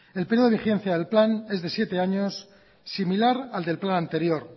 el período de vigencia del plan es de siete años similar al del plan anterior